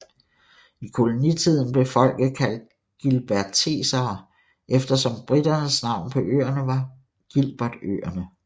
I kolonitiden blev folket kaldt gilbertesere efter som briternes navn på øerne var Gilbertøerne